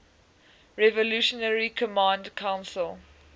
revolutionary command council